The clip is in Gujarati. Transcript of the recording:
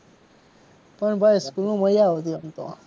પણ ભાઈ સ્કૂલમાં મજા આવતી એમ તો.